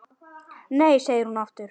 Nei segir hún aftur.